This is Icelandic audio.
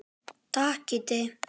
Takk Kiddi.